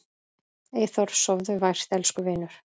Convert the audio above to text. Eyþór, sofðu vært elsku vinur.